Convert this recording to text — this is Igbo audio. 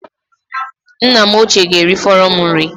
Nna m ochie ga-erifọrọ m nri